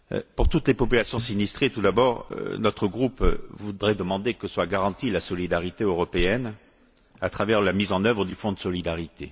Pour toutes les populations sinistrées, tout d'abord, notre groupe voudrait demander que soit garantie la solidarité européenne à travers la mise en œuvre du fonds de solidarité.